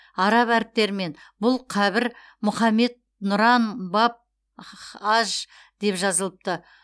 араб әріптерімен бұл қабір мұхаммед нұран баб х аж деп жазылыпты